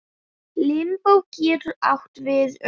Limbó getur átt við um